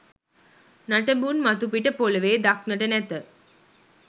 නටබුන් මතුපිට පොළවේ දක්නට නැත.